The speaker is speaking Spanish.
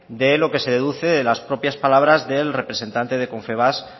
de lo que se deduce de las propias palabras del representante de confebask